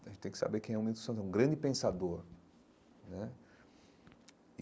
A gente tem que saber quem é o Milton Santos, é um grande pensador né.